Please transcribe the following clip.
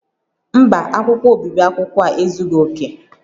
Mba, akwụkwọ obibi akwụkwọ a ezughi oke